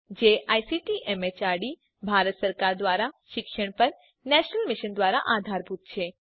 જે ICT MHRD Bharat સરકાર દ્વારા શિક્ષણ પર નેશનલ મિશન દ્વારા આધારભૂત છે